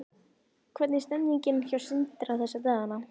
Hvernig er stemningin hjá Sindra þessa dagana?